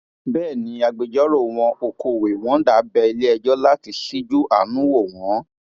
bẹẹ ni agbẹjọrò wọn okọhweh wonder bẹ iléẹjọ láti ṣíjú àánú wò wọn